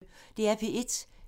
DR P1